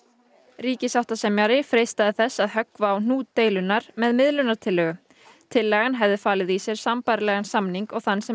ríkissáttasemjari freistaði þess að höggva á hnút deilunnar með miðlunartillögu tillagan hefði falið í sér sambærilegan samning og þann sem